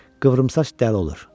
Qıvrımsaç dəli olur.